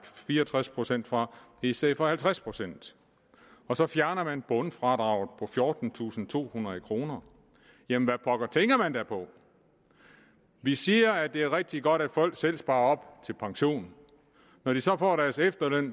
fire og tres procent fra i stedet for halvtreds procent og så fjerner man bundfradraget på fjortentusinde og tohundrede kroner jamen hvad pokker tænker man da på vi siger at det er rigtig godt at folk selv sparer op til pension når de så får deres efterløn